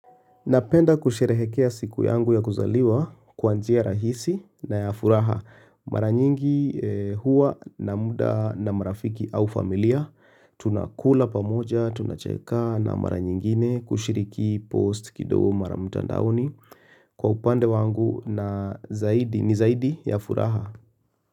Napenda kusherehekea siku yangu ya kuzaliwa kwa njia rahisi na ya furaha. Mara nyingi huwa na muda na marafiki au familia. Tunakula pamoja, tunacheka na mara nyingine kushiriki post kidogo mara mutandaoni. Kwa upande wangu na zaidi, ni zaidi ya furaha.